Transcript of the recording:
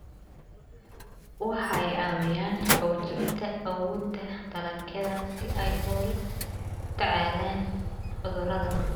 Waxay caawiyaan xoojinta awoodda dalagyada si ay ula tacaalaan cudurrada.